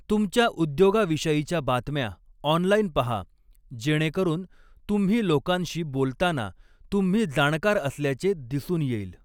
तुमच्या उद्योगाविषयीच्या बातम्या ऑनलाईन पहा, जेणेकरून तुम्ही लोकांशी बोलताना तुम्ही जाणकार असल्याचे दिसून येईल.